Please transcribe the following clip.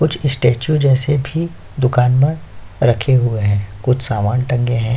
कुछ स्टैचू जैसे भी दुकान पर रखे हुए हैं कुछ सामान टंगे हैं।